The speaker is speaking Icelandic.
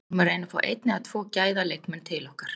Við erum að reyna að fá einn eða tvo gæða leikmenn til okkar.